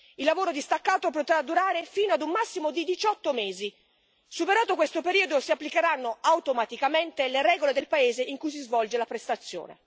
Il lavoro distaccato potrà durare fino a un massimo di 18 mesi superato questo periodo si applicheranno automaticamente le regole del paese in cui si svolge la prestazione.